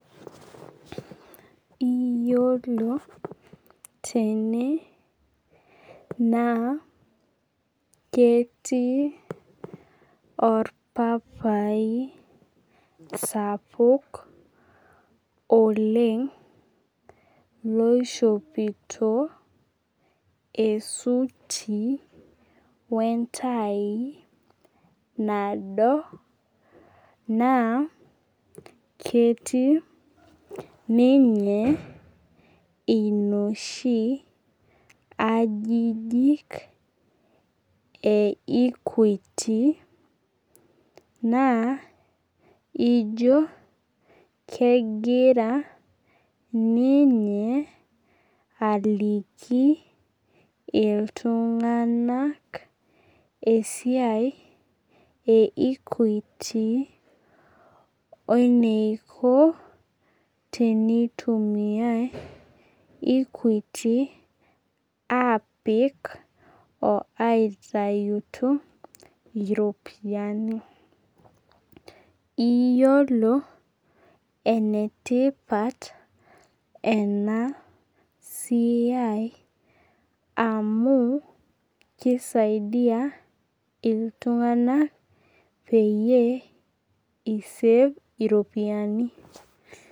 Iyiolo tene naa ketii orpapai sapuk oleng loishopito esuti wentai nado, naa ketii ninye inoshi ajijik e Equity, naa ijo kegira ninye aliki iltung'anak esiai e Equity weniko tenitumiai, Equity apik,o aitayutu iropiyiani. Iyiolo enetipat enasiai amu kisaidia iltung'anak peyie i save iropiyiani.